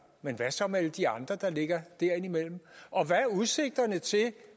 men hvad så med alle de andre der ligger derimellem og hvad er udsigterne til